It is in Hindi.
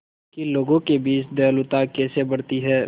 कि लोगों के बीच दयालुता कैसे बढ़ती है